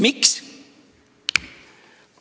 Miks?